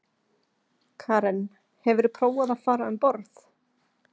Karen: Hefurðu prófað að fara um borð?